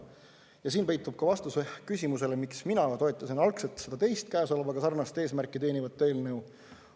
Ja siin peitub ka vastus küsimusele, miks mina toetasin algselt seda teist, käesoleva sarnast eesmärki teenivat eelnõu.